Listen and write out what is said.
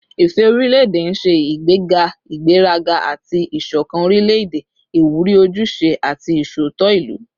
Ifẹ orilẹ-ede n ṣe igbega igberaga ati isokan orilẹ-ede, iwuri ojuse ati iṣootọ ilu